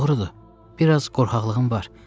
Doğrudur, biraz qorxaqlığım var.